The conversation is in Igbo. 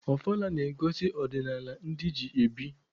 Ọfala na-egosi ọdịnaala ndị ji ebi.